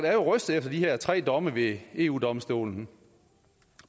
er rystet efter de her tre domme ved eu domstolen